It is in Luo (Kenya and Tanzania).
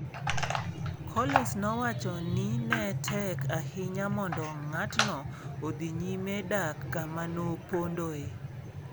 Collins nowacho ni ne tek ahinya mondo ng'atno odhi nyime dak kama nopondoe.